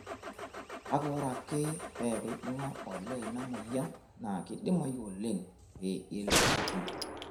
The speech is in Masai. Kake ore ake peeku eibung'a olee ina moyian naa keidimayu oleng' pee eigil atum.